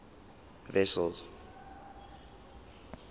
wessels